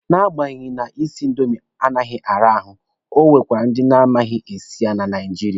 Na agbanyeghị na isi indomi anaghị ara ahụ, e nwekwara ndị na-amaghi ya esi na Naijiria.